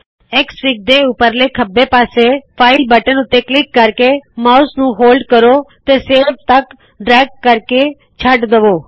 XFIG ਦੇ ਉਪਰਲੇ ਖੱਬੇ ਪਾਸੇ ਫਾਈਲ ਬਟਨ ਉੱਤੇ ਕਲਿਕ ਕਰਕੇ ਮਾਉਸ ਨੂੰ ਹੋਲਡ ਕਰੋ ਤੇ ਸੇਵ ਤਕ ਡ੍ਰੈਗ ਕਰਕੇ ਛੱਡ ਦਵੋ